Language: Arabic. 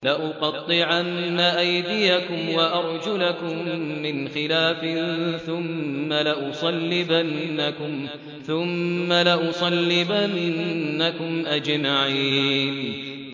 لَأُقَطِّعَنَّ أَيْدِيَكُمْ وَأَرْجُلَكُم مِّنْ خِلَافٍ ثُمَّ لَأُصَلِّبَنَّكُمْ أَجْمَعِينَ